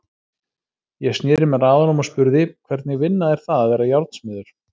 Ég sneri mér að honum og spurði: Hvernig vinna er það að vera járnsmiður?